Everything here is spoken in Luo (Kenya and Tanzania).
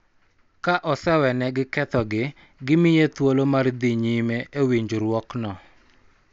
Ka osewenegi kethogi, gimiye thuolo mar dhi nyime e winjruokno,